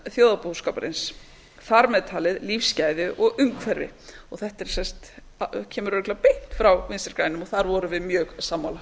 þjóðarbúskaparins þar með talin lífsgæði og umhverfi þetta kemur örugglega beint frá vinstri grænum og þar vorum við mjög sammála